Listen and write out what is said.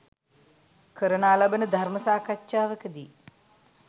කරනා ලබන ධර්ම සාකච්ඡාවකදී